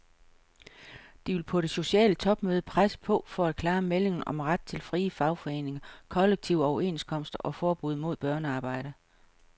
De vil på det sociale topmøde presse på for klare meldinger om ret til frie fagforeninger, kollektive overenskomster og forbud mod børnearbejde.